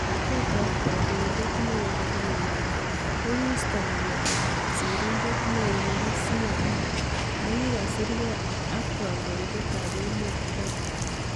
Kot ab kandoindet neo nebo emet kokiisto ngalek ab sirindet neo nebo CNN nekikasirkei ab kandoindet ab emet Trump.